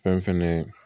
Fɛn fɛnɛ